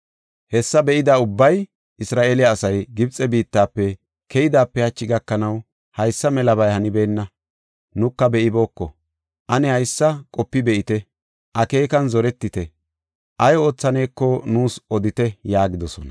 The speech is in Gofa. Hessa be7ida ubbay, “Isra7eele asay Gibxe biittafe keyoodepe hachi gakanaw haysa melabay hanibeenna; nuka be7ibooko. Ane haysa qopi be7idi, akeekan zoretidi, ay oothaneko nuus odite” yaagidosona.